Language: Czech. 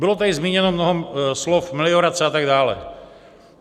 Bylo tady zmíněno mnoho slov - meliorace a tak dále.